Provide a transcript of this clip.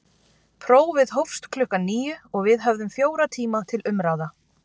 Prófið hófst klukkan níu og við höfðum fjóra tíma til umráða.